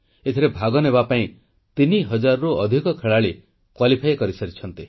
ଏଥିରେ ଭାଗ ନେବାପାଇଁ 3000ରୁ ଅଧିକ ଖେଳାଳି ଯୋଗ୍ୟତା ଅର୍ଜନ କରିସାରିଛନ୍ତି